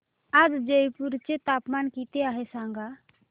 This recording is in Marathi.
आज जयपूर चे तापमान किती आहे सांगा